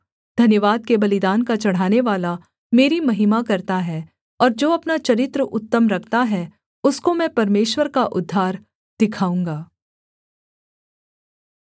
धन्यवाद के बलिदान का चढ़ानेवाला मेरी महिमा करता है और जो अपना चरित्र उत्तम रखता है उसको मैं परमेश्वर का उद्धार दिखाऊँगा